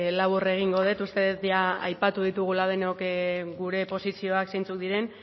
labur egingo dut uste dut jada aipatu ditugula denok gure posizioak zeintzuk diren